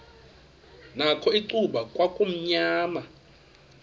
nakho icuba kwakumnyama